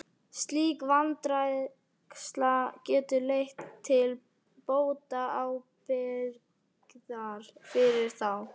Slík vanræksla getur leitt til bótaábyrgðar fyrir þá.